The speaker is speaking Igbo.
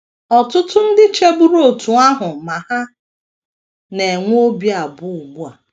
Ọtụtụ ndị cheburu otú ahụ ma ha na - enwe obi abụọ ugbu a.